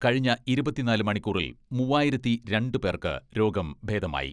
കഴിഞ്ഞ ഇരുപത്തിനാല് മണിക്കൂറിൽ മൂവായിരത്തി രണ്ട് പേർക്ക് രോഗം ഭേദമായി.